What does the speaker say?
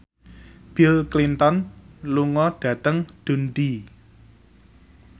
Bill Clinton lunga dhateng Dundee